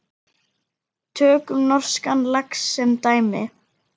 Tökum norskan lax sem dæmi.